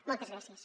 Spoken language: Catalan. moltes gràcies